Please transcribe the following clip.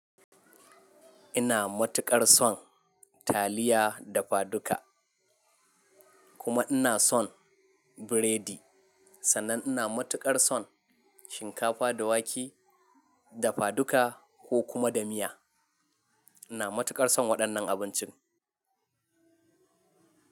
Ina matuƙar son taliya dafaduka kuma ina son biredi. Sannan ina matuƙar son shinkafa da wake, dafaduka, ko kuma da miya. Ina matuƙar son waɗannan abincin.